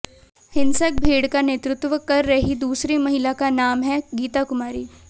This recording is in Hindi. हिंसक भीड़ का नेतृत्व कर रही दूसरी महिला का नाम है गीता कुमारी